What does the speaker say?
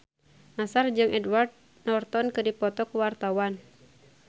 Nassar jeung Edward Norton keur dipoto ku wartawan